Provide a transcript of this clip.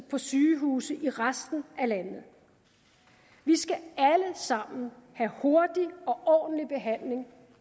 for sygehuse i resten af landet vi skal alle sammen have hurtig og ordentlig behandling